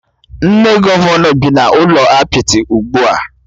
Nne Gọvanọ bị n'ụlọ apịtị ugbua